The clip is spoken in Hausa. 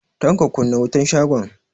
Tanko, kunna wutan shagon.